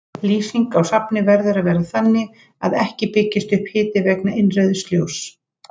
Lýsing á safni verður að vera þannig að ekki byggist upp hiti vegna innrauðs ljóss.